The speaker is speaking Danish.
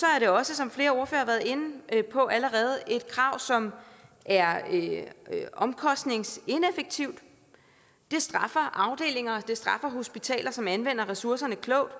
er det også som flere ordførere været inde på et krav som er er omkostningsineffektivt det straffer afdelinger og det straffer hospitaler som anvender ressourcerne klogt